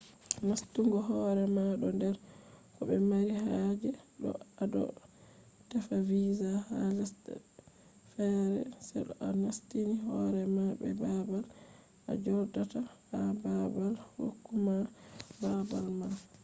nastungo hore ma do der ko be mari haje to ado tefa visa. ha lesde fere se to a nastini horema be babal a jodata ha baabal hukuma babal man